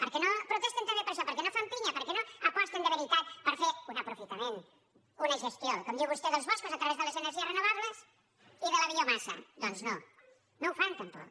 per què no protesten també per això per què no fan pinya per què no aposten de veritat per fer un aprofitament una gestió com diu vostè dels boscos a través de les energies renovables i de la biomassa doncs no no ho fan tampoc